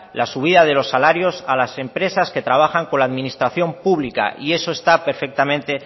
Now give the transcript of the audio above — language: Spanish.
las subidas de los salarios a las empresas que trabajan con la administración pública y eso está perfectamente